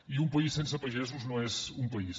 i un país sense pagesos no és un país